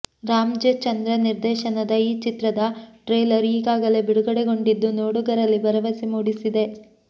Ram J Chandra ನಿರ್ದೇಶನದ ಈ ಚಿತ್ರದ ಟ್ರೇಲರ್ ಈಗಾಗಲೇ ಬಿಡುಗಡೆಗೊಂಡಿದ್ದು ನೋಡುಗರಲ್ಲಿ ಭರವಸೆ ಮೂಡಿಸಿದೆ